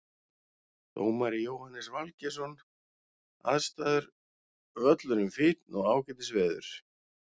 Dómari Jóhannes Valgeirsson Aðstæður Völlurinn fínn og ágætis veður.